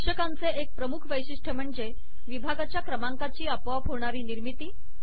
शीर्षकांचे एक प्रमुख वैशिष्ट्य म्हणजे विभागाच्या क्रमांकांची आपोआप होणारी निर्मिती